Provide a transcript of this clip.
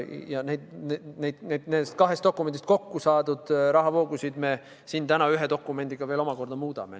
Ja nendest kahest dokumendist kokku saadud rahavoogusid me siin täna ühe dokumendiga veel omakorda muudame.